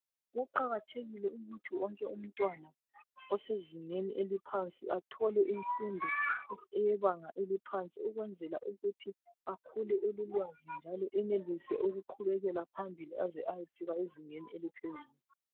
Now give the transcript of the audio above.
Kuqakathekile ukuthi wonke umntwana osezingeni eliphansi athole imfundo eyebanga eliphansi ukwenzela ukuthi akhule elolwazi njalo enelise ukuqhubekela phambili aze ayefika ezingeni eliphezulu.